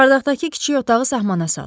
Çardaqdakı kiçik otağı sahmana sal.